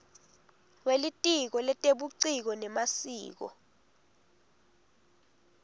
welitiko letebuciko nemasiko